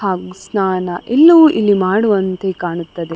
ಹಾಗು ಸ್ನಾನ ಇಲ್ಲಿ ಮಾಡುವಂತೆ ಕಾಣುತದೆ.